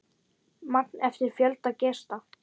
Magn eftir fjölda gesta.